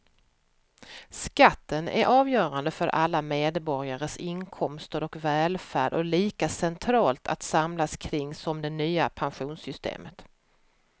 Skatten är avgörande för alla medborgares inkomster och välfärd och lika centralt att samlas kring som det nya pensionssystemet.